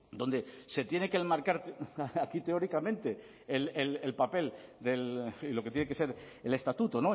donde se tiene que enmarcar aquí teóricamente el papel y lo que tiene que ser el estatuto